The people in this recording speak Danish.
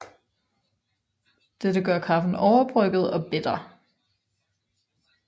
Dette gør kaffen overbrygget og bitter